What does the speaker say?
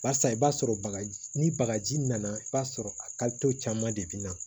Barisa i b'a sɔrɔ bagaji ni bagaji nana i b'a sɔrɔ a caman de bi na